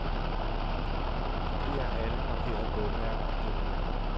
Kopier alle markerede bogmærker i dokumentet.